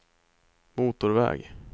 motorväg